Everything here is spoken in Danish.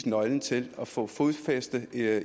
nøglen til at få fodfæste i det